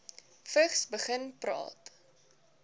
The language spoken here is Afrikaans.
vigs begin praat